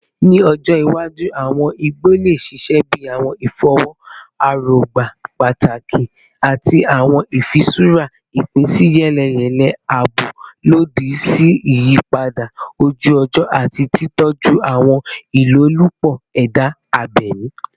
Ni ọjọ iwaju, awọn igbo le ṣiṣẹ bi awọn ifọwọ erogba pataki ati awọn ifiṣura ipinsiyeleyele, aabo lodi si iyipada oju-ọjọ ati titọju awọn ilolupo eda abemi.